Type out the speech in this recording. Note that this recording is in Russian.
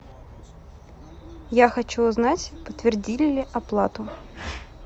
я хочу узнать подтвердили ли оплату